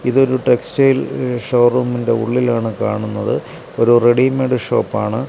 ഇതൊരു ടെക്സ്റ്റൈൽ ഷോറൂമിന്റെ ഉള്ളിലാണ് കാണുന്നത് ഒരു റെഡിമെയ്ഡ് ഷോപ്പാണ് .